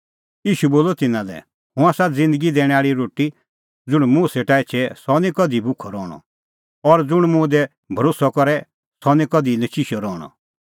ईशू बोलअ तिन्नां लै हुंह आसा ज़िन्दगी दैणैं आल़ी रोटी ज़ुंण मुंह सेटा एछे सह निं कधि भुखअ रहणअ और ज़ुंण मुंह दी भरोस्सअ करे सह निं कधि नचिशअ रहणअ